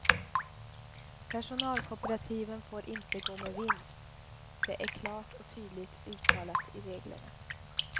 Personalkooperativen får inte gå med vinst, det är klart och tydligt uttalat i reglerna.